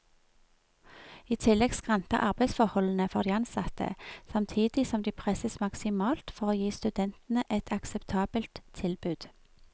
I tillegg skranter arbeidsforholdene for de ansatte, samtidig som de presses maksimalt for å gi studentene et akseptabelt tilbud.